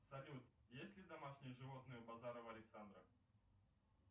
салют есть ли домашние животные у базарова александра